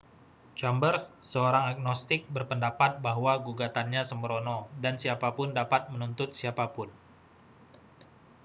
chambers seorang agnostik berpendapat bahwa gugatannya sembrono dan siapa pun dapat menuntut siapa pun